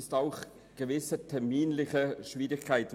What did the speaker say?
Wir sehen auch gewisse terminliche Schwierigkeiten.